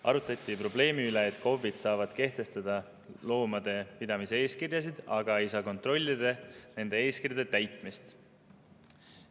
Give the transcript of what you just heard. Arutati probleemi, et KOV-id saavad kehtestada loomade pidamise eeskirjasid, aga ei saa kontrollida nende eeskirjade täitmist.